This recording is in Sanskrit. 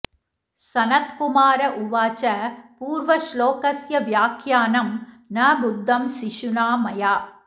सनत्कुमार उवाच पूर्वश्लोकस्य व्याख्यानं न बुद्धं शिशुना मया